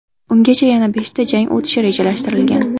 Ungacha yana beshta jang o‘tishi rejalashtirilgan.